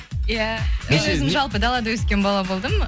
иә мен өзім жалпы далада өскен бала болдым